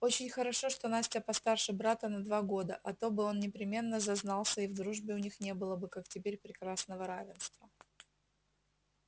очень хорошо что настя постарше брата на два года а то бы он непременно зазнался и в дружбе у них не было бы как теперь прекрасного равенства